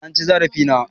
eh an ci zarafi na